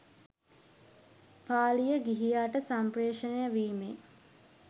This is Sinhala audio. පාලිය ගිහියාට සම්පේ්‍රෂණය වීමේ